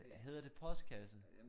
Hedder det postkasse?